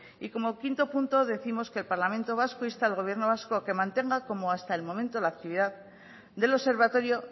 y como quinto punto décimos que el parlamento vasco insta al gobierno vasco a que mantenga como hasta el momento la actividad del observatorio